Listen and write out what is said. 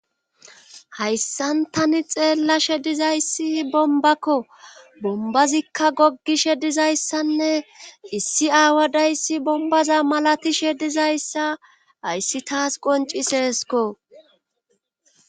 Hayssan tani xeellashe dizayssi bombakko bombazikka goggishe dizayssanne issi aawadayssi bombaza malatishe dizayssa hayssi taas qonciseesko.